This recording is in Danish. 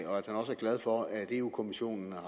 glad for at europa kommissionen